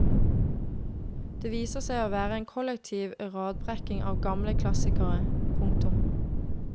Det viser seg å være en kollektiv radbrekking av gamle klassikere. punktum